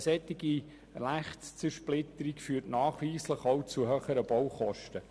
Eine solche Rechtszersplitterung führt nachweislich auch zu höheren Baukosten.